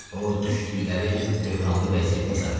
O düşdükləri böhranlı vəziyyəti izah elədi.